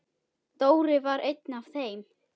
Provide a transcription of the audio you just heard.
Dóri var einn af þeim.